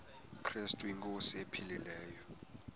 krestu inkosi ephilileyo